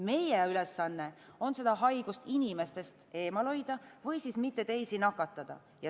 Meie ülesanne on seda haigust inimestest eemal hoida või siis mitte teisi nakatada.